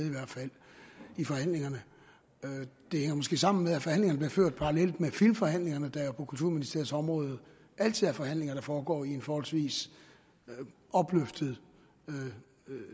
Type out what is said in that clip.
i forhandlingerne det hænger måske sammen med at forhandlingerne blev ført parallelt med filmforhandlingerne der jo er på kulturministeriets område og altid er forhandlinger der foregår i en forholdsvis opløftet